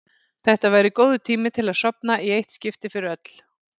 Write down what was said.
Þetta væri góður tími til að sofna í eitt skipti fyrir öll.